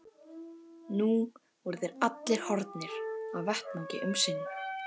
Nú voru þeir allir horfnir af vettvangi um sinn.